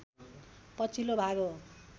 पछिल्लो भाग हो